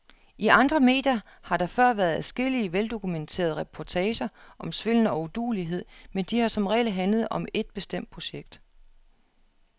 I andre medier har der før været adskillige, veldokumenterede reportager om svindel og uduelighed, men de har som regel handlet om et bestemt projekt.